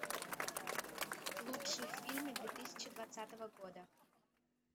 лучшие фильмы две тысячи двадцатого года